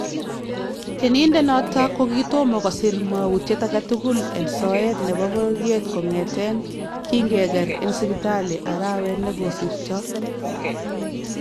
Tyenindet noton kokitomo kosiir mwawutyet agetukul en soyeet nebo bororyeet kon'eteen kingekeer en sipitalii araweet nikosirtoo